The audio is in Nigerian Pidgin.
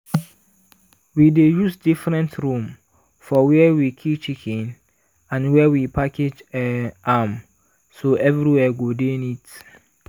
we dey use different room for where we kill chicken and where we package um am so everywhere go dey neat.